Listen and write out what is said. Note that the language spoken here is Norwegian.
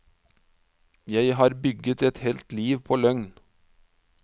Jeg har bygget et helt liv på løgn.